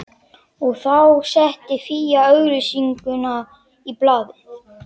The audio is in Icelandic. Og þá setti Fía auglýsingu í blaðið